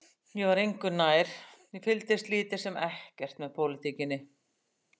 Ég var engu nær, ég fylgdist lítið sem ekkert með pólitíkinni.